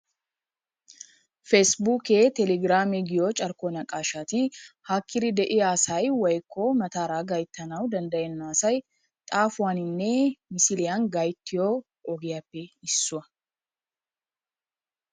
pasibukee telegiramee giyoo carkko naqashshati haakkiri de'iyaa asay woyko mataara gayttanawu danddayenna asay xaafuwaaninne misiliyaan gayttiyoo ogiyaappe issuwaa.